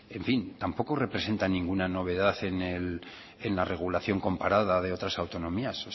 en fin tampoco representa ninguna novedad en la regulación comparada de otras autonomías